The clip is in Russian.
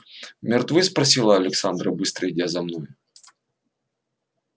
мертвы спросила александра быстро идя за мной